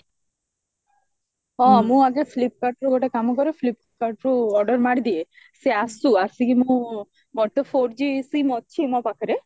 ହଁ ମୁଁ ଆଗେ flipkartରୁ ଗୋଟେ କାମ କରେ flipkartରୁ order ମାରିଦିଏ ସେ ଆସୁ ଆସିକି ମୋ ମୋର ତ four g SIM ଅଛି ମୋ ପାଖରେ